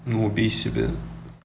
ну убей себя